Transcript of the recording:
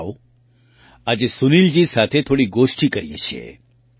આવો આજે સુનિલજી સાથે થોડી ગોષ્ઠિ કરીએ છીએ